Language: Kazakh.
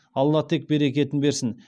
алла тек берекетін берсін